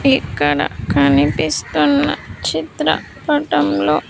ఇక్కడ కనిపిస్తున్న చిత్రపటంలో--